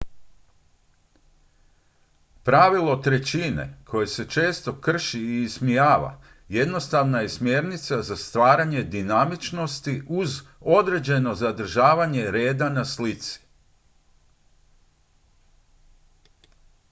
pravilo trećine koje se često krši i ismijava jednostavna je smjernica za stvaranje dinamičnosti uz određeno zadržavanje reda na slici